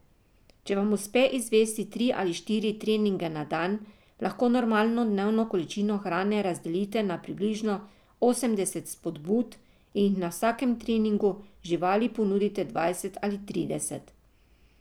Če vam uspe izvesti tri ali štiri treninge na dan, lahko normalno dnevno količino hrane razdelite na približno osemdeset spodbud in jih na vsakem treningu živali ponudite dvajset ali trideset.